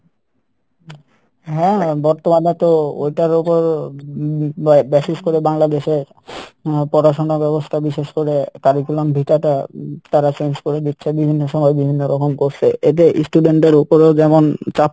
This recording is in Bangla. হ্যাঁ হ্যাঁ বর্তমানে তো ওইটার ওপর basis করে বাংলাদেশের আহ পড়াশোনা ব্যাবস্থা বিশেষ করে curriculum vitae টা তারা change করে দিচ্ছে বিভিন্ন সময় বিভিন্ন রকম করসে এতে student দের ওপরেও যেমন চাপ